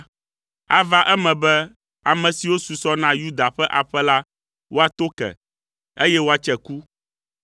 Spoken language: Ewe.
Ava eme be ame siwo susɔ na Yuda ƒe aƒe la woato ke, eye woatse ku,